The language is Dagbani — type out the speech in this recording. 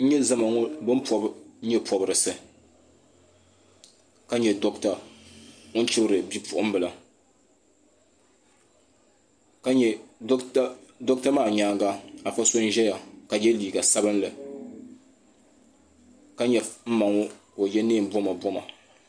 N nyɛ zama ŋɔ ni pobi nyɛ pobirisi ka nya dogita ni chibiri bi puɣinbila doɣita maa nyaaŋa afa so n ziya ka yɛ liiga sabinli ka nya n maŋɔ ka o yɛ neen bomaboma